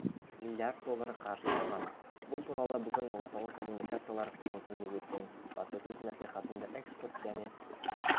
млрд доллар қаржы салған бұл туралы бүгін орталық коммуникациялар қызметінде өткен баспасөз мәслихатында экспорт және